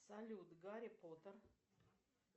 салют гарри поттер